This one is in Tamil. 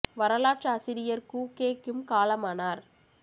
வரலாற்றாசிரியர் கூ கே கிம் காலமானார்